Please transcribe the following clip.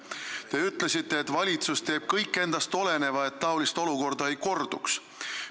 Te ütlesite, et valitsus teeb kõik endast oleneva, et taoline olukord ei korduks.